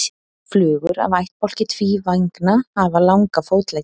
Flugur af ættbálki tvívængna hafa langa fótleggi.